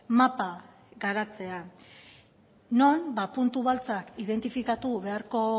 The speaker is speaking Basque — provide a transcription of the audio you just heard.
mapa garatzea non puntu beltzak identifikatu beharko